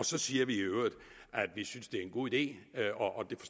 så siger vi i øvrigt at vi synes det er en god idé